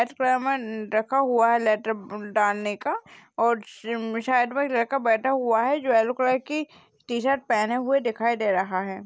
रखा हुआ है। लेटर ब डालने का और श्रीं शायद वो एक लड़का बैठा हुआ है जो येलो कलर की टीशर्ट पहने हुए दिखाई दे रहा है।